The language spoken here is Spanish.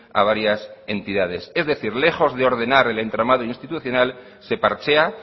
a varias entidades es decir lejos de ordenar el entramado institucional se parchea